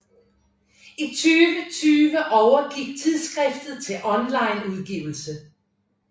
I 2020 overgik tidsskriftet til online udgivelse